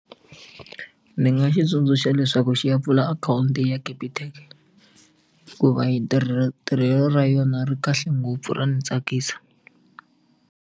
Ni nga xi tsundzuxa leswaku xi ya pfula akhawunti ya Capitec hikuva hi ntirho tirhelo ra yona ri kahle ngopfu ra ni tsakisa.